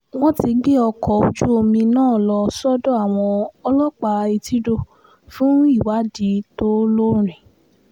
wọ́n ti gbé ọkọ̀ ojú-omi náà lọ sọ́dọ̀ àwọn ọlọ́pàá etídò fún ìwádìí tó lọ́ọ̀rìn